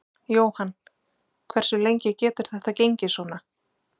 Jóhann: Hversu lengi getur þetta gengið svona?